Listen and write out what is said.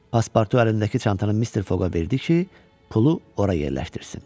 Paspartu əlindəki çantanı Mister Foqa verdi ki, pulu ora yerləşdirsin.